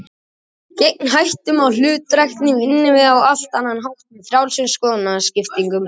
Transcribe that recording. Gegn hættunni á hlutdrægni vinnum við á allt annan hátt, með frjálsum skoðanaskiptum.